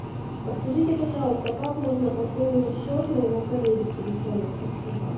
подскажите пожалуйста как можно пополнить счет моего коллеги телефона спасибо